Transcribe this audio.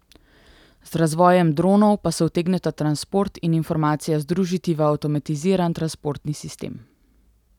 Z razvojem dronov pa se utegneta transport in informacija združiti v avtomatiziran transportni sistem.